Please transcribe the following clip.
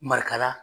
Marikala